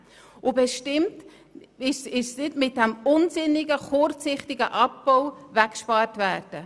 Bestimmt soll hier nichts mit einer unsinnigen, kurzsichtigen Massnahme weggespart werden.